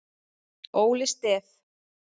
Óli Stef